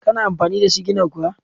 Kana amfani da sigina kuwa?